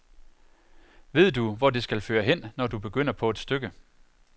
Ved du, hvor det skal føre hen, når du begynder på et stykke.?